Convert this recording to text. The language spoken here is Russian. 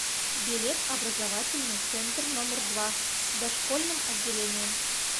билет образовательный центр номер два с дошкольным отделением